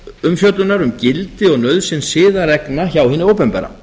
umfjöllunar um gildi og nauðsyn siðareglna hjá hinu opinbera